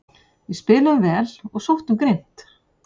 Við spiluðum vel og sóttum grimmt